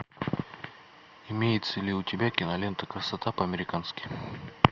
имеется ли у тебя кинолента красота по американски